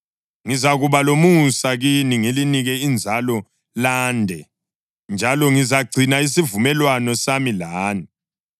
Ngizakuba lomusa kini ngilinike inzalo lande; njalo ngizagcina isivumelwano sami lani.